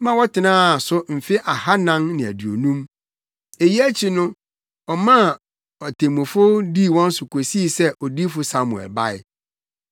ma wɔtenaa so mfe ahannan ne aduonum. Eyi akyi no ɔmaa atemmufo dii wɔn so kosii sɛ Odiyifo Samuel bae.